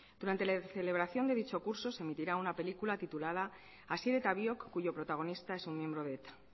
durante la celebración de dicho curso se emitirá una película titulada asier eta biok cuyo protagonista es un miembro de eta